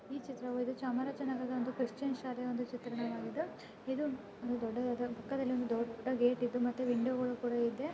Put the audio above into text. ಈ ಚಿತ್ರವು ಇದು ಚಾಮರಾಜನಗರದ ಒಂದು ಕ್ರಿಸ್ಟಿಯನ್ ಶಾಲೆಯ ಒಂದು ಚಿತ್ರಣವಾಗಿದೆ. ಇದು ಒಂದು ದೊಡ್ಡದಾದ ಪಕ್ಕದಲ್ಲಿ ಒಂದು ದೊಡ್ಡ ಗೇಟ್ ಇದ್ದು ಮತ್ತೆ ವಿಂಡೋ ಗಳು ಕೂಡ ಇದೆ.